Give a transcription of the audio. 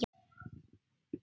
Það hló enginn nema hann.